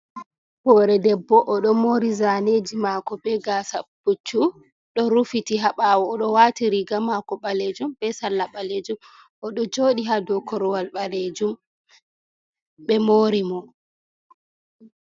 Hoore debbo, o ɗo moori zaaneji maako be gaasa puch-chu, ɗo rufiti ha ɓaawo, o ɗo waati riiga maako ɓaleejum be sarla ɓaleejum, o ɗo jooɗi ha dow korowal ɓaleejum ɓe moori mo.